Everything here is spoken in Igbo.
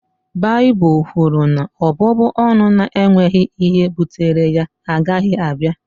Baịbụl kwuru na ọbụbụ ọnụ na-enweghị ihe bụtere ya agaghị abịa